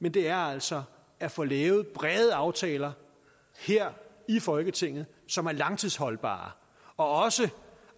men det er altså at få lavet brede aftaler her i folketinget som er langtidsholdbare og